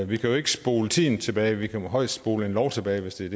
vi kan jo ikke spole tiden tilbage vi kan højst spole en lov tilbage hvis det er